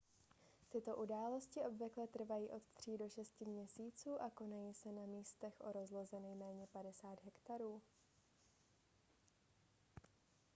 tyto události obvykle trvají od 3 do 6 měsíců a konají se na místech o rozloze nejméně 50 hektarů